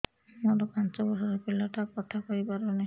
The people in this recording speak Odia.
ମୋର ପାଞ୍ଚ ଵର୍ଷ ର ପିଲା ଟା କଥା କହି ପାରୁନି